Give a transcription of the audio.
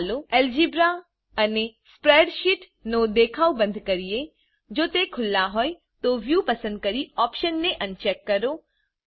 ચાલો અલ્જેબ્રા અને સ્પ્રેડશીટ નો દેખાવ બંદ કરીએ જો તે ખુલ્લા હોય તો viewપસંદ કરી optionને અનચેક કરો